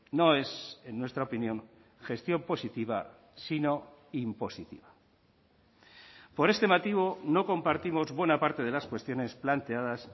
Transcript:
no es en nuestra opinión gestión positiva sino impositiva por este motivo no compartimos buena parte de las cuestiones planteadas